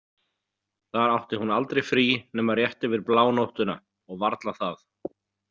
Þar átti hún aldrei frí nema rétt yfir blánóttina og varla það.